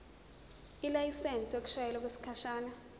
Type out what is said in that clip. ilayisensi yokushayela okwesikhashana